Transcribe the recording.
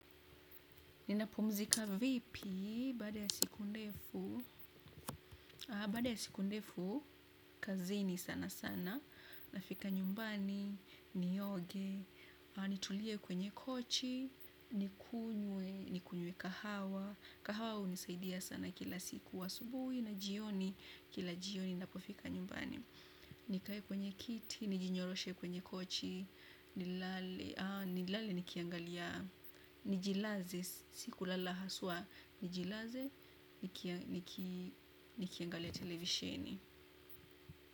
Ninapumzika vipi, baada ya siku ndefu, bada ya siku ndefu, kazini sana sana, nafika nyumbani, nioge, nitulie kwenye kochi, nikunywe, nikunywe kahawa, kahawa hunisaidia sana kila siku asubuhi, na jioni, kila jioni, napofika nyumbani. Nikae kwenye kiti, nijinyoroshe kwenye kochi, nilale nikiangalia, nijilaze, siku lala haswa, nijilaze, nikiangalia televisheni.